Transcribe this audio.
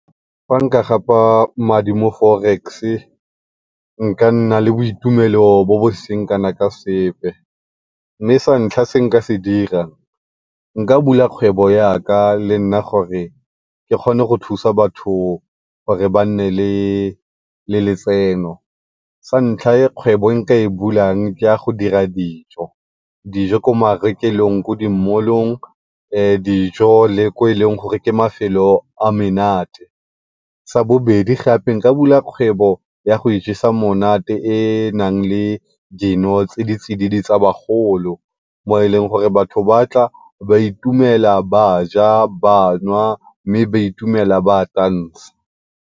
Fa nka gapa madi mo forex nka nna le boitumelo bo bo seng kana ka sepe mme sa ntlha se nka se dira, nka bula kgwebo ya ka gore le nna ke kgone go thusa batho gore ba nne le, le letseno. Sa ntlha kgwebo e nka e bulang ke ya go dira dijo, dijo ko marekelong ko di mall-ong dijo le ko e leng gore ke mafelo a menate. Sa bobedi gape nka bula kgwebo ya go ijesa monate e e nang le dino tse di tsididi tsa bagolo mo e leng gore batho ba tla ba itumela, ba ja, ba nwa mme ba itumela ba tansa.